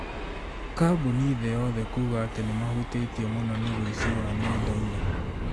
kambuni thĩ yothe kuga atĩ nĩmahutĩto mũno ni ũici wa nenda-inĩ